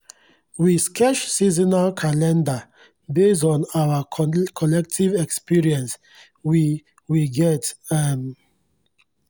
we sketch seasonal calendar based on our collective experience we we get um